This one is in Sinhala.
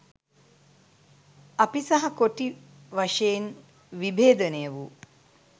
අපි සහ කොටි වශයෙන් විභේදනය වූ